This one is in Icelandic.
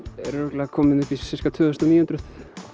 er örugglega kominn upp í tvö þúsund og níu hundruð